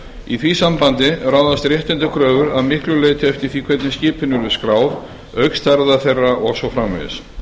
í því sambandi ráðast réttindakröfur að miklu leyti eftir því hvernig skipin eru skráð auk stærðar þeirra og svo framvegis